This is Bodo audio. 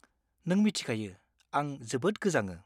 नों मिथिखायो आं जोबोद गोजाङो।